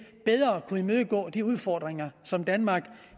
kunne imødegå de udfordringer som danmark